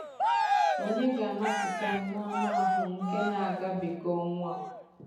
Ònye ga-anapụta m n’anụahụ nke na-agabiga ọnwụ a?